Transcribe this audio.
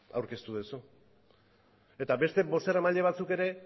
aurkeztu duzu eta beste bozeramaile batzuk ere